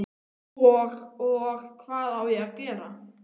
Og, og. hvað á ég að gera?